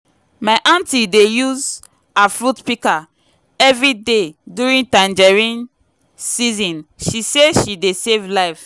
my anti dey use her fruit picker every day during tangerine season she say e dey save life.